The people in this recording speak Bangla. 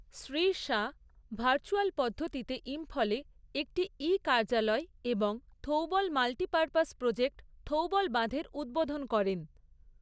শ্রী শাহ ভার্চ্যুয়াল পদ্ধতিতে ইম্ফলে একটি ই কার্যালয় এবং Thoubal multi purpose project Thoubal বাঁধের উদ্বোধন করেন।